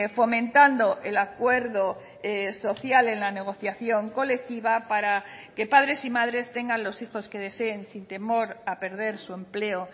fomentando el acuerdo social en la negociación colectiva para que padres y madres tengan los hijos que deseen sin temor a perder su empleo